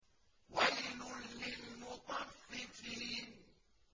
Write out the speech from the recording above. وَيْلٌ لِّلْمُطَفِّفِينَ